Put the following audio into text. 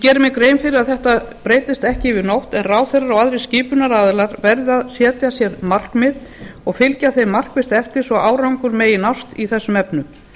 geri mér grein fyrir að þetta breytist ekki yfir nótt en ráðherrar og aðrir skipunaraðilar verði að setja sér markmið og fylgja þeim markvisst eftir svo árangur megi nást í þessum efnum